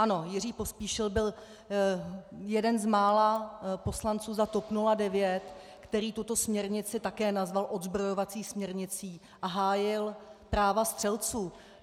Ano, Jiří Pospíšil byl jeden z mála poslanců za TOP 09, který tuto směrnici také nazval odzbrojovací směrnicí a hájil práva střelců.